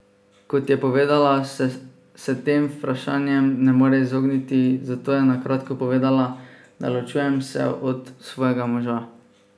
Kot je povedala, se tem vprašanjem ne more izogniti, zato je na kratko povedala: "Da, ločujem se od svojega moža.